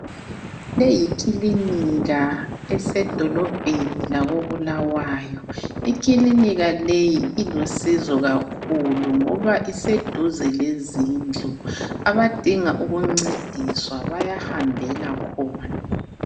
Leyi yikilinika esedolobheni lako Bulawayo, ikilinika leyi ilusizo kakhulu ngoba iseduze lezindlu abadinga ukuncediswa bayahambela khona.